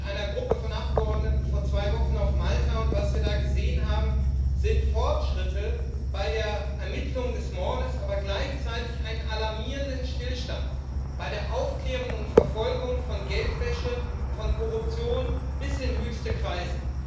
Wir waren mit einer Gruppe von Abgeordneten vor zwei Wochen auf Malta und was wir da gesehen haben, sind Fortschritte bei der Ermittlung des Mordes, aber gleichzeitig ein alarmierender Stillstand bei der Aufklärung und Verfolgung von Geldwäsche, von Korruption, bis in höchste Kreise.